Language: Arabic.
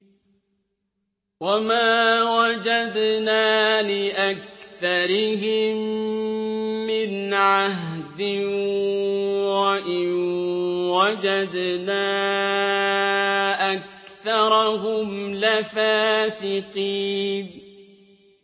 وَمَا وَجَدْنَا لِأَكْثَرِهِم مِّنْ عَهْدٍ ۖ وَإِن وَجَدْنَا أَكْثَرَهُمْ لَفَاسِقِينَ